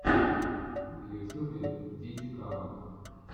в ютюбе дидикаба